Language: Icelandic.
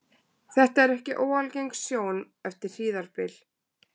þetta er ekki óalgeng sjón eftir hríðarbyl